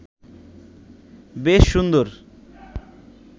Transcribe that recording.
বেশ সুন্দর